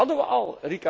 Dat hadden we